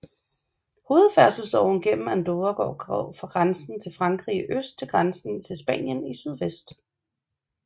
Hovedfærdselsåren gennem Andorra går fra grænsen til Frankrig i øst til grænsen til Spanien i sydvest